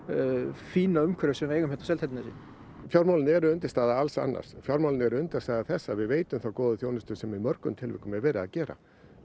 fína umhverfi sem við eigum hérna á Seltjarnarnesi fjármálin eru undirstaða alls annars fjármálin eru undirstaða þess að við veitum þá góðu þjónustu sem í mörgum tilvikum er verið að gera